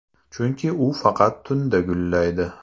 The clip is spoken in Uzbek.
Chunki u faqat tunda gullaydi.